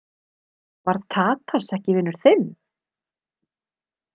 Var Tadas ekki vinur þinn?